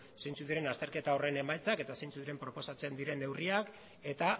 zeintzuk diren azterketa horren emaitzak eta zeintzuk diren proposatzen diren neurriak eta